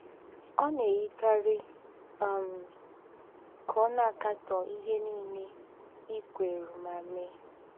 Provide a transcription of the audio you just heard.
Ọ̀ nà-èyíkárí um ká ọ̀ nà-àkátọ́ íhé nílé ì̀ kwérù mà méè.